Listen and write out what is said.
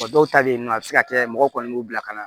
Wa dɔw ta bɛ yen nɔ a bɛ se ka kɛ mɔgɔ kɔni b'u bila ka na